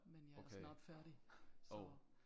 Men jeg er snart færdig så